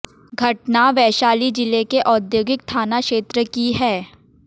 घटना वैशाली जिले के औद्योगिक थाना क्षेत्र की है